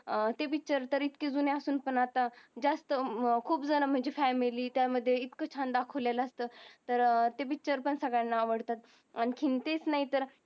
ते पिक्चर तरी जुने असून पण अत्ता जास्त खूप जन म्हंजे family त्या मध्ये इतक चंदा खुलेल असत. तरी ते पिक्चर पण सगळान अवडतात. आणि तेच नाही तर